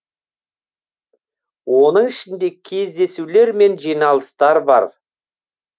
оның ішінде кездесулер мен жиналыстар бар